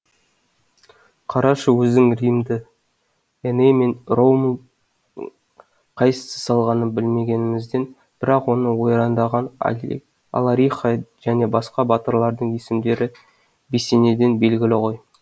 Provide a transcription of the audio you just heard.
қарашы өзің римді эней мен ромулдің қайсысы салғанын білмегенімізбен бірақ оны ойрандаған алариха және басқа батырлардың есімдері бесенеден белгілі ғой